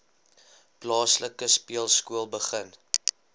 plaaslike speelskool begin